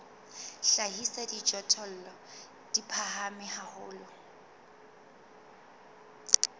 hlahisa dijothollo di phahame haholo